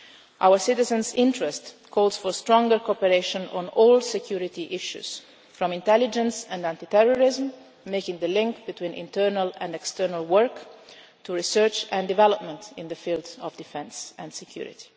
Our citizens' interest calls for stronger cooperation on all security issues from intelligence and anti terrorism, making the link between internal and external work, to research and development in the fields of defence and security.